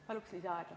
Paluks lisaaega!